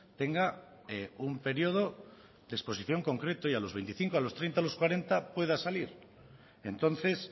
tenga un periodo de exposición concreto y a los veinticinco a los treinta a los cuarenta pueda salir entonces